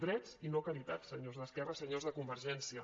drets i no caritat senyors d’esquerra senyors de convergència